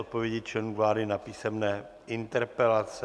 Odpovědi členů vlády na písemné interpelace